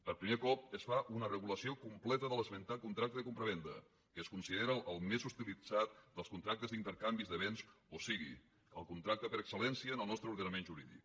per primer cop es fa una regulació completa de l’esmentat contracte de compravenda que es considera el més utilitzat dels contractes d’intercanvi de béns o sigui el contracte per exceltre ordenament jurídic